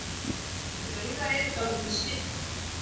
Draugar eru dálítið svipaðir.